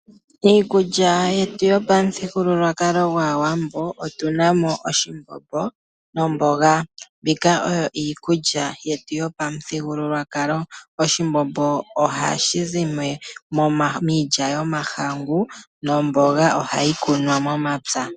Iikulya yetu yopamuthigululwakalo gwaawambo otuna mo oshimbombo nomboga. Mbyoka oyo iikulya yetu yopamuthigululwakalo, oshimbombo ohashi zi miilya yomahangu omanga omboga oha yi kunwa mepya.